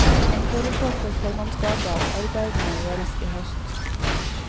Han foreslår for formannskapet at arbeidene gjøres i høst.